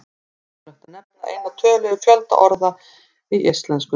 Ómögulegt er að nefna eina tölu yfir fjölda orða í íslensku.